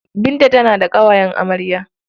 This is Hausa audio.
Binta tana da ƙawayen amarya.